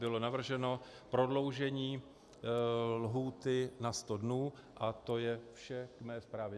Bylo navrženo prodloužení lhůty na sto dnů a to je vše k mé zprávě.